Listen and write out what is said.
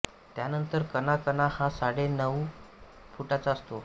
त्यानंतर कणा कणा हा साडे नऊ फुटाचा असतो